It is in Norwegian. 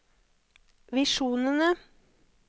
visjonene